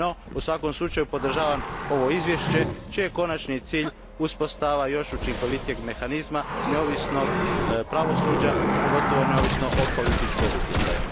U svakom slučaju, podržavam ovo izvješće, čiji je konačni cilj uspostava još učinkovitijeg mehanizma neovisnog pravosuđa, pogotovo neovisnog od političkog utjecaja.